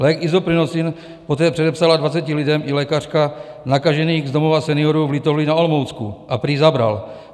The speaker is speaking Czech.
Lék Isoprinosine poté předepsala 20 lidem i lékařka nakažených z Domova seniorů v Litovli na Olomoucku a prý zabral.